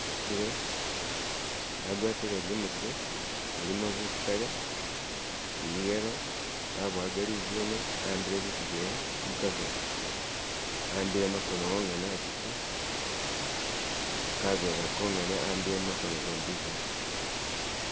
agwatile igomesi ilimo busitale ili yelo abowaga lizune awambile bitu byewe mukavela awambile makono wongene atiki kavela konyene awambile makono gombizana